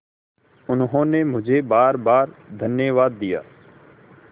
उन्होंने मुझे बारबार धन्यवाद दिया